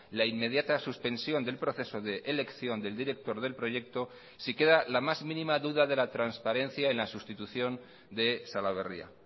la inmediata suspensión del proceso de elección del director del proyecto si queda la más mínima duda de la transparencia en la sustitución de salaberria